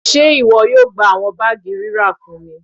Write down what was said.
Ṣe iwọ yoo gba awọn baagi rira fun mi?